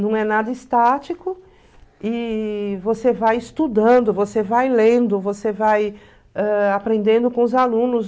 Não é nada estático e você vai estudando, você vai lendo, você vai ãh aprendendo com os alunos.